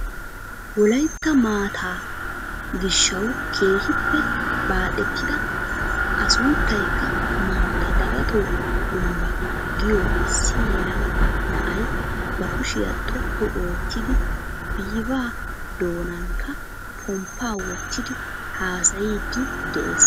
Wollaytta maataa giishshawu keehippe baaxettida a sunttaykka mantta dagatoo kumbba giyo issi yelegaa na'ay ba kushshiyaa xooqqu oottidi bva doonankka pomppaa wottidi hasaayiidi de'ees.